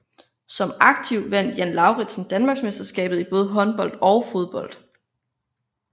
Som aktiv vandt Jan Lauridsen Danmarksmesterskabet både i håndbold og fodbold